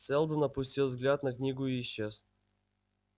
сэлдон опустил взгляд на книгу и исчез